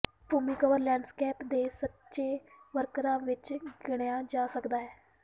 ਭੂਮੀ cover landscape ਦੇ ਸੱਚੇ ਵਰਕਰਾਂ ਵਿਚ ਗਿਣਿਆ ਜਾ ਸਕਦਾ ਹੈ